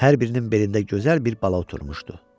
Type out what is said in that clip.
Hər birinin belində gözəl bir bala oturmuşdu.